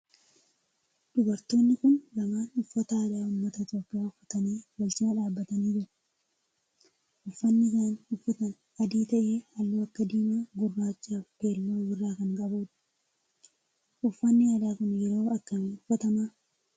Dubartoonni kun lamaan uffata aadaa ummata Itiyoophiyaa uffatanii wal cinaa dhaabbatanii jiru. Uffanni isaan uffatan adii ta'ee halluu akka diimaa, gurraachaa fi keelloo of irraa kan qabudha. Uffanni aadaa kun yeroo akkamii uffatama?